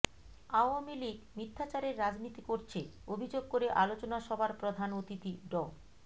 Awami League মিথ্যাচারের রাজনীতি করছে অভিযোগ করে আলোচনা সভার প্রধান অতিথি ড